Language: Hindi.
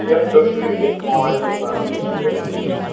यह तस्वीर एक मोबाइल दुकान के अंदर की है।